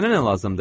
Sənə nə lazımdır?